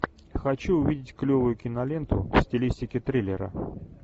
хочу увидеть клевую киноленту в стилистике триллера